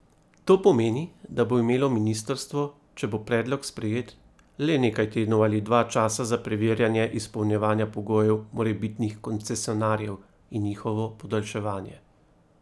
To pomeni, da bo imelo ministrstvo, če bo predlog sprejet, le nekaj tednov ali dva časa za preverjanje izpolnjevanja pogojev morebitnih koncesionarjev in njihovo podaljševanje.